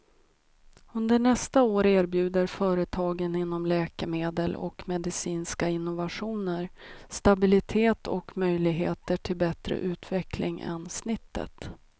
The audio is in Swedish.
Under nästa år erbjuder företagen inom läkemedel och medicinska innovationer stabilitet och möjligheter till bättre utveckling än snittet.